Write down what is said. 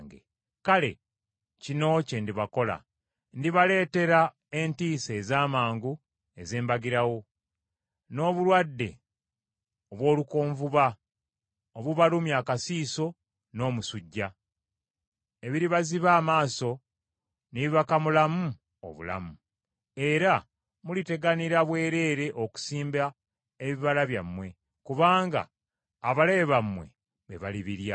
kale, kino kye ndibakola: Ndibaleetera entiisa eza mangu ez’embagirawo, n’obulwadde obw’olukonvuba obubalumya akasiiso n’omusujja, ebiribaziba amaaso ne bibakamulamu obulamu. Era muliteganira bwereere okusimba ebibala byammwe, kubanga abalabe bammwe be balibirya.